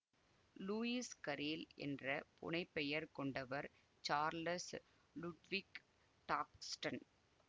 Lewis Carroll என்ற புனைப்பெயர் கொண்டவர் சார்லஸ் லுட்விக் டாக்ஸ்டன்